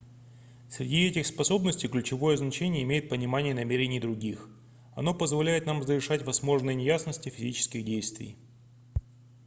среди этих способностей ключевое значение имеет понимание намерений других оно позволяет нам разрешать возможные неясности физических действий